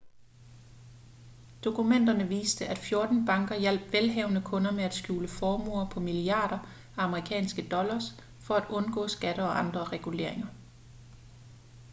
dokumenterne viste at 14 banker hjalp velhavende kunder med at skjule formuer på milliarder af amerikanske dollars for at undgå skatter og andre reguleringer